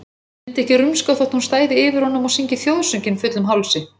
Hann myndi ekki rumska þótt hún stæði yfir honum og syngi þjóðsönginn fullum hálsi.